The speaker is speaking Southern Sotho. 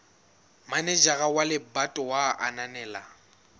manejara wa lebatowa a ananela